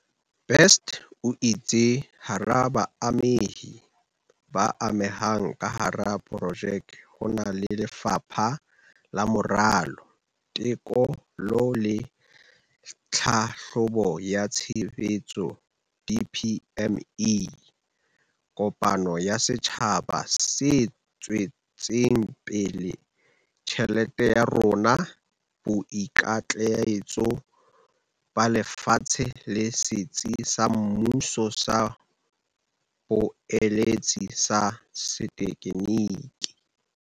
Best o itse hara baamehi ba amehang ka hara projeke ho na le Lefapha la Moralo, Teko lo le Tlhahlobo ya Tshebetso, DPME, kopano ya setjhaba se tswetseng pele Imali Yethu, Boikitlaetso ba Lefatshe le Setsi sa Mmuso sa Boeletsi ba Setekgeniki.